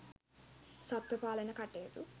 සත්ත්ව පාලන කටයුතු